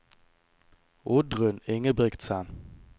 Oddrun Ingebrigtsen